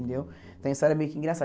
Então, a história é meio que engraçada.